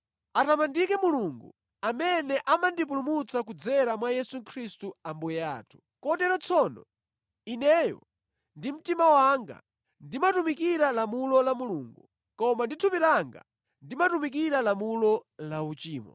Atamandike Mulungu, amene amandipulumutsa kudzera mwa Yesu Khristu Ambuye athu! Kotero tsono, ineyo ndi mtima wanga ndimatumikira lamulo la Mulungu, koma ndi thupi langa ndimatumikira lamulo la uchimo.